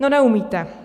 No neumíte.